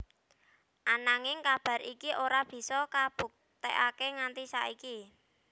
Ananging kabar iki ora bisa kabuktekaké nganti saiki